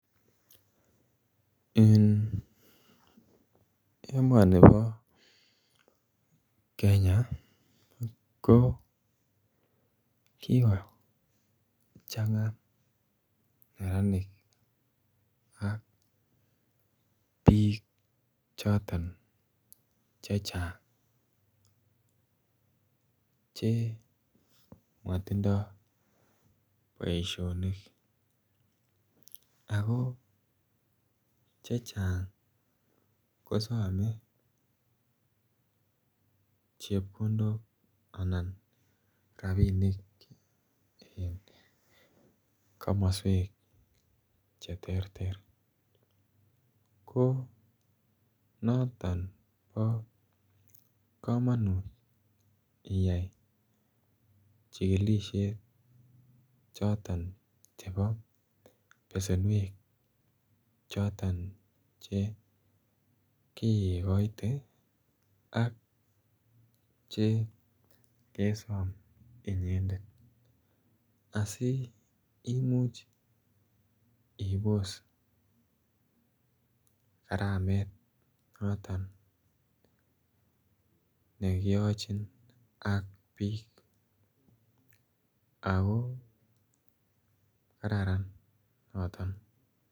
Eng emani bo kenya ko kiko changa neranik ak biik chotoon che chaang che matindoi boisionik ako che chaang kosame chepkondook anan rapinik eng komosweek che terter ko notoon bo kamanut iyai chikilisheet chotoon chebo besenweek chotoon che kikoit ii che kesaam inyended asi imuuch ibos karameet notoon nekiyachiin ak biik ako kararan notoon